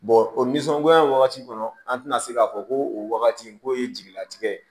o nisɔngoya in wagati kɔnɔ an tɛna se k'a fɔ ko o wagati k'o ye jigilatigɛ ye